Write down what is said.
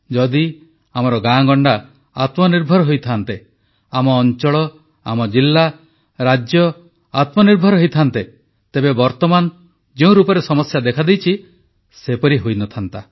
ଯଦି ଆମର ଗାଁଗଣ୍ଡା ଆତ୍ମନିର୍ଭର ହୋଇଥାନ୍ତେ ଆମ ଅଂଚଳ ଜିଲ୍ଲା ରାଜ୍ୟ ଆତ୍ମନିର୍ଭର ହୋଇଥାନ୍ତେ ତେବେ ବର୍ତ୍ତମାନ ଯେଉଁ ରୂପରେ ସମସ୍ୟା ଦେଖାଦେଇଛି ସେପରି ହୋଇନଥାନ୍ତା